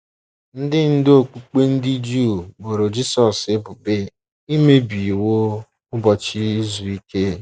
Ndị ndú okpukpe ndị Juu boro Jisọs ebubo imebi iwu Ụbọchị Izu Ike.